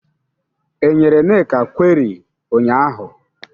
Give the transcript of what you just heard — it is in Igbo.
E nyere Nneka kweri ụnyaahụ?